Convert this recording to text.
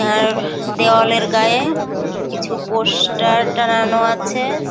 আর দেওয়ালের গায়ে কিছু পোস্টার টাঙানো আছে।